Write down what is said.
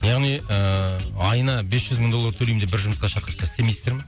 яғни ыыы айына бес жүз мың доллар төлеймін деп бір жұмысқа шақырса істемейсіздер ме